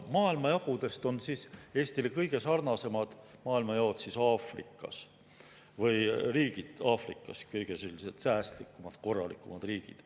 Maailmajagudest on Eestile kõige sarnasemad riigid Aafrikas, kõige säästlikumad, korralikumad riigid.